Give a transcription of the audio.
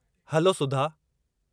Hello, Sudha!